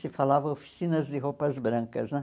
Se falava oficinas de roupas brancas, né?